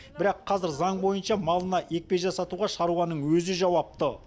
бірақ қазір заң бойынша малына екпе жасатуға шаруаның өзі жауапты